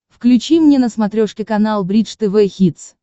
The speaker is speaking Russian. включи мне на смотрешке канал бридж тв хитс